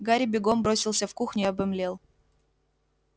гарри бегом бросился в кухню и обомлел